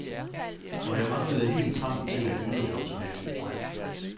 Og jeg manglede helt trangen til at yde det optimale.